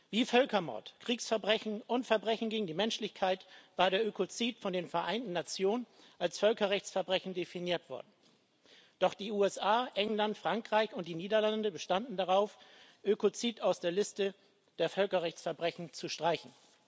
Wie Völkermord, Kriegsverbrechen und Verbrechen gegen die Menschlichkeit war der Ökozid von den Vereinten Nationen als Völkerrechtsverbrechen definiert worden, doch die USA, England, Frankreich und die Niederlande bestanden darauf, Ökozid aus der Liste der Völkerrechtsverbrechen zu streichen.